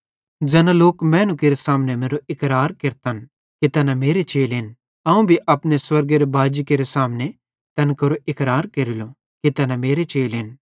ज़ैना लोक मैनू केरे सामने मेरो इकरार केरतन कि तैना मेरे चेलेन त अवं भी अपने स्वर्गेरो बाजी केरे सामने तैन केरो इकरार केरेलो कि तैना मेरे चेलेन